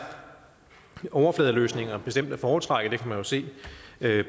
overfladeløsninger bestemt at foretrække man kan jo se